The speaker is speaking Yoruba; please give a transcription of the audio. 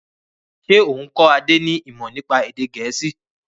Ṣé o n kọ Adé ni imọ nípa èdè gẹ̀ẹ́sì?